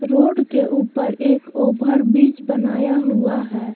Road के ऊपर एक ओवर ब्रिज बनाया हुआ है।